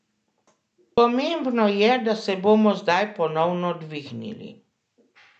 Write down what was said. Pomembno je, da se bomo zdaj ponovno dvignili.